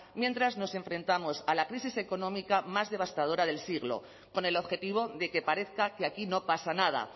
mientras nos enfrentamos a la crisis económica más devastadora del siglo con el objetivo de que parezca que aquí no pasa nada